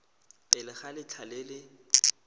pele ga letlha le le